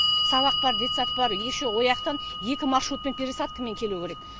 сабақ бар детсад бар еще ояқтан екі маршрутпен пересадкамен келу керек